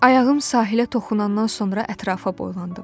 Ayağım sahilə toxunandan sonra ətrafa boylandım.